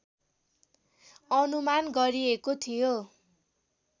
अनुमान गरिएको थियो